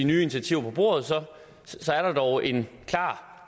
nye initiativer på bordet så er der dog en klar